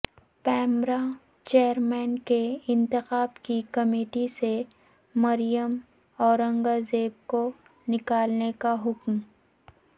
PEMRA chairman کے انتخاب کی کمیٹی سے مریم اورنگزیب کو نکالنے کا حکم